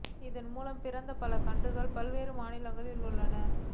இதன் மூலம் பிறந்த பல கன்றுகள் பல்வேறு மாநிலங்களில் உள்ளன